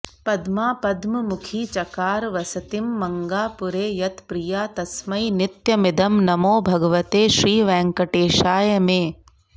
पद्मा पद्ममुखी चकार वसतिं मङ्गापुरे यत्प्रिया तस्मै नित्यमिदं नमो भगवते श्रीवेङ्कटेशाय मे